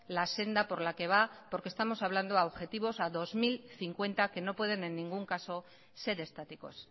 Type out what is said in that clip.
la senda por la que va porque estamos hablando a objetivos a dos mil cincuenta que no pueden en ningún caso ser estáticos